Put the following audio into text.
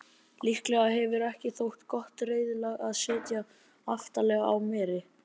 Líklega hefur ekki þótt gott reiðlag að sitja aftarlega á meri.